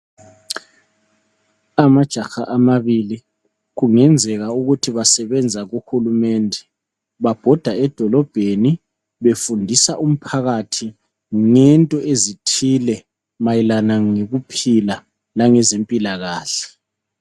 Amajaha amabili, kungenzeka ukuthi basebenza kuhulumende. Babhoda edolobheni befundisa umphakathi ngento ezithile mayelana ngokuphila langezempilakahle.